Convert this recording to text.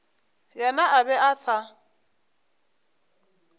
yena a be a sa